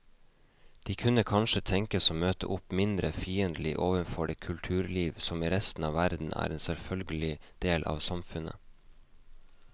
De kunne kanskje tenkes å møte opp mindre fiendtlige overfor det kulturliv som i resten av verden er en selvfølgelig del av samfunnet.